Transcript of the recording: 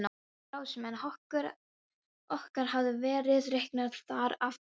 Ráðsmenn okkar hafa verið reknir þar af búum.